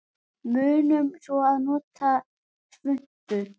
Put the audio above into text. Munum svo að nota svuntu.